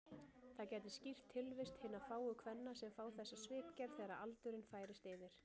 Það gæti skýrt tilvist hinna fáu kvenna sem fá þessa svipgerð þegar aldurinn færist yfir.